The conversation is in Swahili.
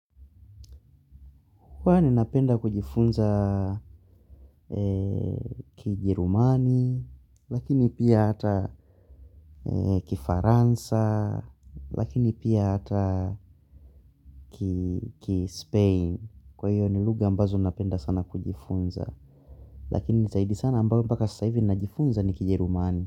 Kwani napenda kujifunza kijerumani, lakini pia hata kifaransa, lakini pia hata kispain. Kwa hiyo ni lugha ambazo napenda sana kujifunza, lakini nitaidi sana ambayo mpaka sasa ivi najifunza ni kijirumani.